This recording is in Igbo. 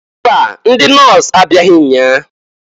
Mba! Ndị nọs abịaghị nnyaa.